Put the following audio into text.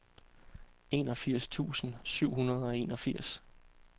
enogfirs tusind syv hundrede og enogfirs